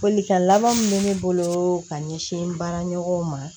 Folikan laban min bɛ ne bolo ka ɲɛsin n baara ɲɔgɔnw ma